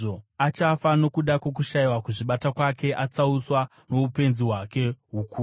Achafa nokuda kwokushayiwa kuzvibata kwake, atsauswa noupenzi hwake hukuru.